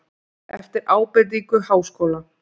Eftir ábendingu Háskóla